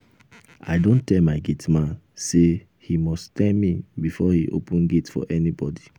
i don tell my gate man say he must tell me before he open gate for anybody